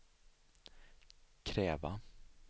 kräva